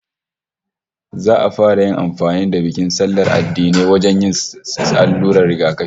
Za'a fara yin amfani da bikin sallar addinai wajen yin allurar rigakafi